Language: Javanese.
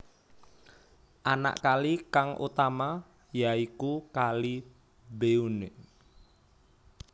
Anak kali kang utama ya iku Kali Benue